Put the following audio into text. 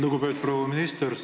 Lugupeetud proua minister!